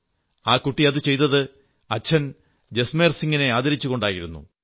ആ കുട്ടി അതു ചെയ്തത് അച്ഛൻ ജസ്മേർസിംഗിനെ ആദരിച്ചുകൊണ്ടായിരുന്നു